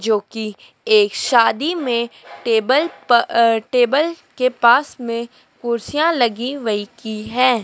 जो की एक शादी में टेबल प अ टेबल के पास में कुर्सियाँ लगी वहीं की हैं।